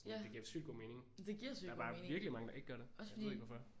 Ja men det giver sygt god mening også fordi